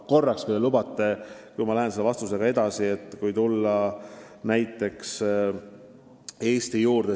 Kui te lubate, siis ma tulen oma vastusega tagasi siiski Eesti juurde.